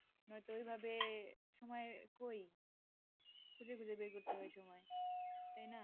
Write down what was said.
নয়তো ওইভাবে সময় কই খুজে খুজে বের করতে হয় সময় তাই না?